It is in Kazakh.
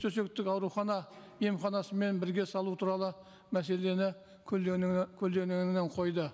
төсектік аурухана емханасымен бірге салуы туралы мәселені көлденеңінен қойды